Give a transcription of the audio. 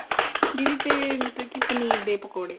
ਦੀਦੀ ਤੇ ਮਤਲਬ ਕਿ ਪਨੀਰ ਦੇ ਪਕੋੜੇ